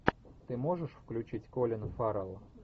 ты можешь включить колин фаррелл